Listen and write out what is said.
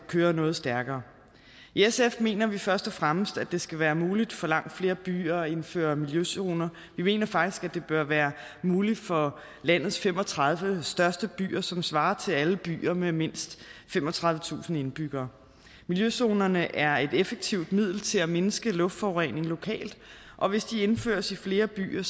køre noget stærkere i sf mener vi først og fremmest at det skal være muligt for langt flere byer at indføre miljøzoner vi mener faktisk det bør være muligt for landets fem og tredive største byer som svarer til alle byer med mindst femogtredivetusind indbyggere miljøzonerne er et effektivt middel til at mindske luftforureningen lokalt og hvis de indføres i flere byer